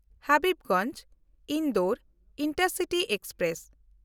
Habibganj-Indore intercity express